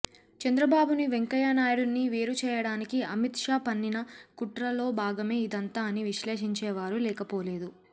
చంద్రబాబు ని వెంకయ్య నాయుడుని వేరుచేయడానికి అమిత్ షా పన్నిన కుట్రలో భాగమే ఇదంతా అని విశ్లేషించే వారూ లేకపోలేదు